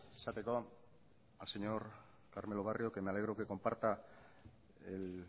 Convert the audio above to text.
esateko al señor carmelo barrio que me alegro que comparta el